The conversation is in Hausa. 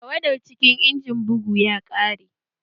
Tawada cikin injimin bugun ya ƙare